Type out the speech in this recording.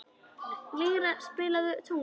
Lýra, spilaðu tónlist.